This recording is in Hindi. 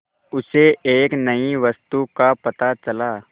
उसे एक नई वस्तु का पता चला